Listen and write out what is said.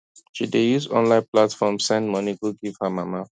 she dey use online platform send money go give her mama